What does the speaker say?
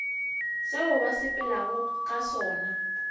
seo ba sepelago ka sona